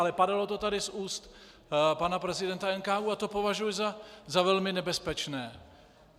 Ale padalo to tady z úst pana prezidenta NKÚ a to považuji za velmi nebezpečné.